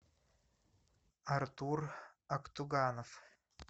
артур актуганов